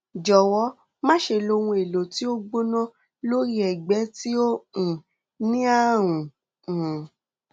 jọwọ máṣe lo ohun èlò tí ó gbóná lórí ẹgbẹ tí ó um ní ààrùn um